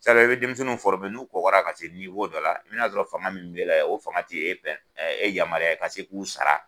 i bɛ denmisɛnninw n'u kɔgɔra ka dɔ la, i bɛ na'a sɔrɔ fanga min bɛɛ la o fanga tɛ' e e yamaruya i ka se k'u sara.